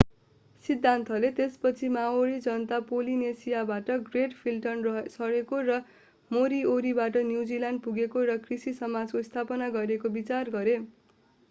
सिद्धान्तले त्यसपछि माओरी जनता पोलिनेसियाबाट ग्रेट फ्लिटमा सरेको र मोरिओरीबाट न्युजिल्यान्ड पुगेको र कृषि समाजको स्थापना गरेको विचार गरे